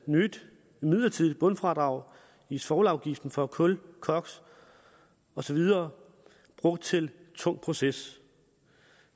nyt midlertidigt bundfradrag i svovlafgiften for kul koks og så videre brugt til tung proces